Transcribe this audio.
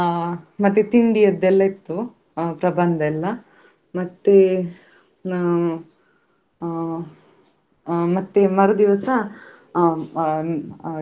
ಬೇರೆ ರೀತಿಯ ನಮ್ಮಾ ವಿಜ್ಞಾನದ ಆ ಕೆಲವು ಮಾಹಿತಿಯನ್ನು ಕೂಡ ನೀಡಿದ್ರು. ಅದೇ ನಮ್ಗೆ ಆ ಆಕಾಶದಲ್ಲಿರುವ ನಕ್ಷತ್ರಗಳಾಗಿರ್ಬೋದು.